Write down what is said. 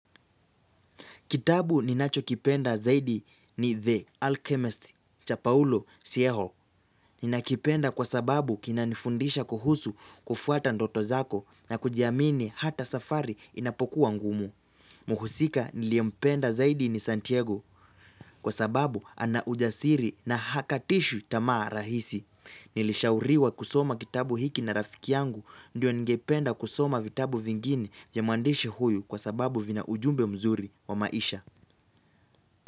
Kitabu ninachokipenda zaidi ni, The Alchemist cha Paulo Sieho. Ninakipenda kwa sababu kinanifundisha kuhusu kufuata ndoto zako na kujiamini hata safari inapokuwa ngumu. Mhusika niliyempenda zaidi ni Santiago. Kwa sababu ana ujasiri na hakatishi tamaa rahisi. Nilishauriwa kusoma kitabu hiki na rafiki yangu. Ndio, ningependa kusoma vitabu vingine vya mwandishi huyu kwa sababu vina ujumbe mzuri wa maisha.